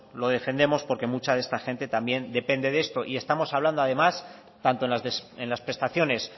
lo defendemos porque mucha de esta gente también depende de esto y estamos hablando además tanto en las prestaciones